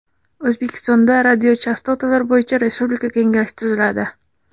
O‘zbekistonda Radiochastotalar bo‘yicha respublika kengashi tuziladi.